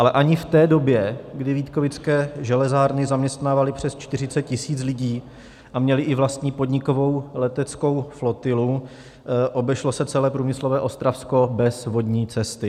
Ale ani v té době, kdy Vítkovické železárny zaměstnávaly přes 40 tisíc lidí a měly i vlastní podnikovou leteckou flotilu, obešlo se celé průmyslové Ostravsko bez vodní cesty.